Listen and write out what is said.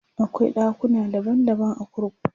akwai ɗakuna daban daban a kurkuku